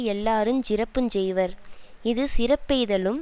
எல்லாருஞ் சிறப்பு செய்வர் இது சிறப்பெய்தலும்